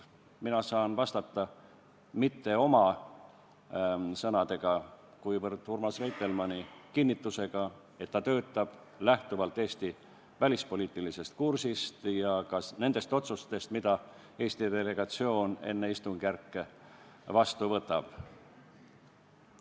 Mina saan vastata, kasutades mitte oma sõnu, vaid Urmas Reitelmanni kinnitust, et ta töötab lähtuvalt Eesti välispoliitilisest kursist ja ka nendest otsustest, mida Eesti delegatsioon enne istungjärke vastu võtab.